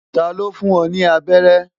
Ta ló fún ọ ní abẹ́rẹ́?